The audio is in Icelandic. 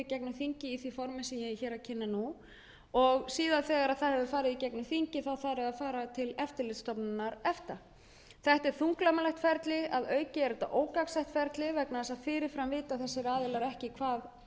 þingið í því formi sem ég er hér að kynna og þegar það hefur farið í gegnum þingið þarf það að fara til eftirlitsstofnunar efta þetta er þunglamalegt ferli og að auki ógagnsætt vegna þess að fyrir fram vita þessir aðilar